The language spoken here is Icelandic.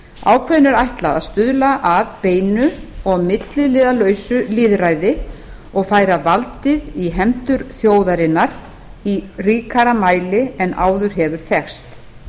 ákvæðinu er ætlað að stuðla að beinu og milliliðalausu lýðræði og færa valdið í hendur þjóðarinnar í ríkara mæli en áður hefur þekkst